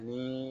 Ni